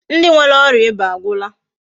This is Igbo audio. Ndi nwere oria iba agwula.